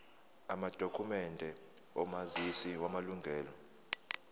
amadokhumende omazisi wamalunga